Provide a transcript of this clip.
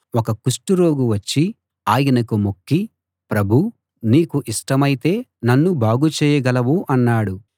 ఒక కుష్టు రోగి వచ్చి ఆయనకు మొక్కి ప్రభూ నీకు ఇష్టమైతే నన్ను బాగు చేయగలవు అన్నాడు